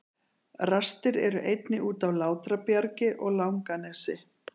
Rastir eru einnig út af Látrabjargi og Langanesi.